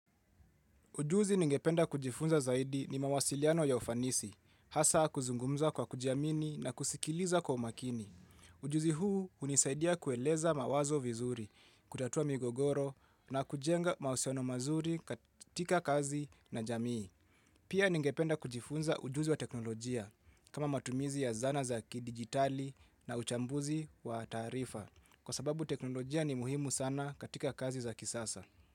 Ujuzi ningependa kujifunza zaidi ni mawasiliano ya ufanisi, hasa kuzungumza kwa kujiamini na kusikiliza kwa umakini. Ujuzi huu unisaidia kueleza mawazo vizuri, kutatua migogoro na kujenga mahusiano mazuri katika kazi na jamii. Pia ningependa kujifunza ujuzi wa teknolojia kama matumizi ya zana za kidigitali na uchambuzi wa taarifa kwa sababu teknolojia ni muhimu sana katika kazi za kisasa.